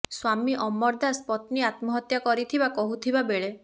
ସ୍ବାମୀ ଅମର ଦାସ ପତ୍ନୀ ଆତ୍ମହତ୍ୟା କରିଥିବା କହୁଥିବା ବେଳେ